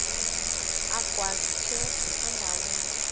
agwaz ikhephu endaweni